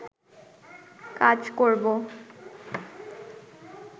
কাজ করবো